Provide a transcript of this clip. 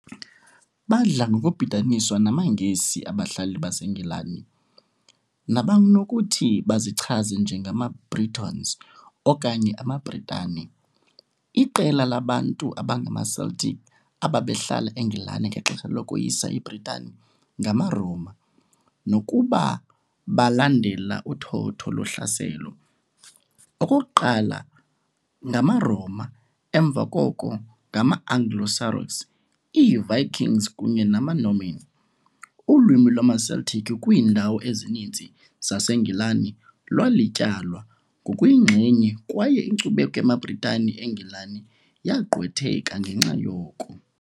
Badla ngokubhidaniswa namaNgesi, abahlali baseNgilani, nabanokuthi bazichaze "njengamaBritons", okanye amaBritane, iqela labantu abangamaCeltic ababehlala eNgilani ngexesha lokoyisa iBritani ngamaRoma, nokuba balandela uthotho lohlaselo, okokuqala ngamaRoma, emva koko ngama-Anglo-Saxons, iiVikings kunye namaNorman, ulwimi lwamaCeltic kwiindawo ezininzi zaseNgilani lwalityalwa ngokuyinxenye kwaye inkcubeko yamaBritane eNgilani yagqwetheka ngenxa yoko.